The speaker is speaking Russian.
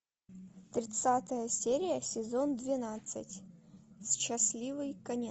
тридцатая серия сезон двенадцать счастливый конец